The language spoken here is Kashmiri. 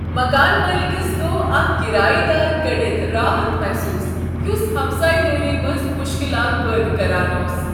مکان مٲلکس گوٚو اکھ کرایہ دار کٔڑتھ راحت محسوٗس یس ہمسایہ دٲری منٛز مشکلات پٲدٕ کران اوس۔